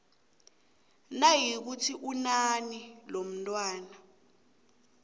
nayikuthi unina lomntwana